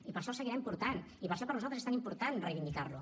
i per això el seguirem portant i per això per nosaltres és tan important reivindicar lo